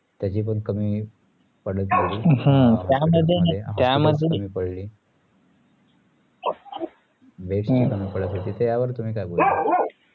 त्यायची कमी पडू नाहीय ता यावर तुम्ही काये बोलणार